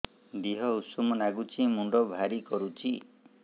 ଦିହ ଉଷୁମ ନାଗୁଚି ମୁଣ୍ଡ ଭାରି କରୁଚି